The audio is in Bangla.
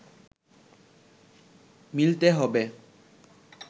মিলতে হবে